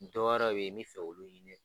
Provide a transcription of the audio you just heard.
Dɔ wɛrɛw bɛ yen n bɛ fɛ kɛ olu ɲini